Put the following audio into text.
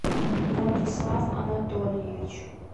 владислав анатольевич